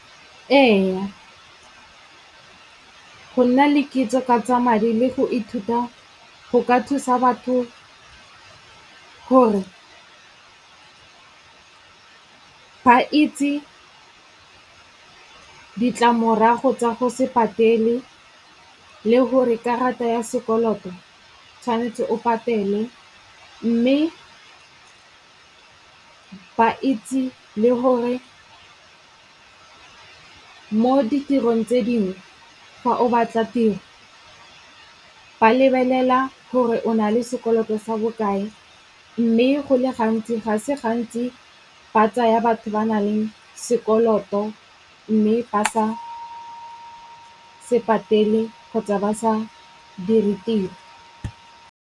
Ee, go nna le kitso ka tsa madi le go ithuta go ka thusa batho hore ba itse ka ditlamorago tsa go se patele le gore karata ya sekoloto tshwanetse o patele, mme ba itse le hore mo ditirong tse dingwe fa o batla tiro ba lebelela gore o na le sekoloto sa bokae. Mme go le gantsi, ga se gantsi ba tsaya batho ba na leng sekoloto mme ba sa se patele kgotsa ba sa dire tiro.